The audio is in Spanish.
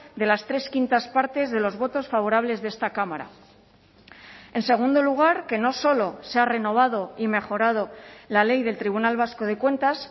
de las tres quintas partes de los votos favorables de esta cámara en segundo lugar que no solo se ha renovado y mejorado la ley del tribunal vasco de cuentas